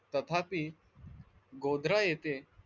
तथापि गोद्रा येथे,